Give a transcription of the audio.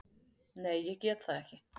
Nei, ég get það ekki.